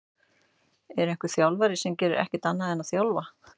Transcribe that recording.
Er einhver þjálfari sem gerir ekkert annað en að þjálfa?